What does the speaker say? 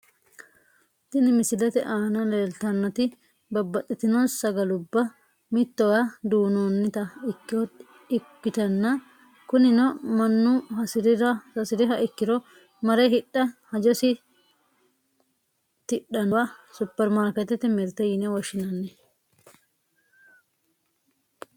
Tini misilete aana leeltannoti babbaxxitino sagalubba mittowa duunnoonnita ikkotanna kunino mannu hasiriha ikkiro mare hidhe hajosi tidhannowa suppermaarkeetete mirte yine woshshinanni.